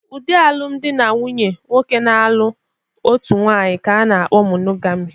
Ụdị alụmdi na nwunye nwoke na-alụ otu nwaanyị ka a na-kpọ monogami.